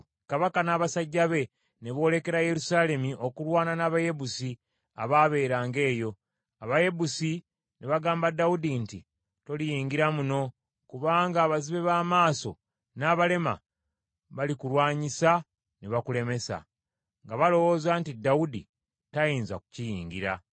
Kabaka n’abasajja be ne boolekera Yerusaalemi okulwana n’Abayebusi abaabeeranga eyo. Abayebusi ne bagamba Dawudi nti, “Toliyingira muno, kubanga abazibe b’amaaso n’abalema balikulwanyisa ne bakulemesa;” nga balowooza nti Dawudi tayinza kukiyingira.